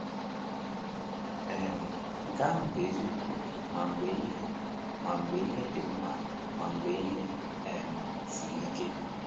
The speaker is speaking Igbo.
um Nke ahụ bụ eziokwu ma mgbe ihe ma mgbe ihe dị mma ma mgbe ihe um siri ike.